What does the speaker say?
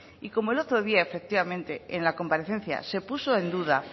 y como el otro día efectivamente en la comparecencia se puso en duda